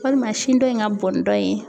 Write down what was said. Walima sin dɔ in ka bɔn ni dɔ in ye.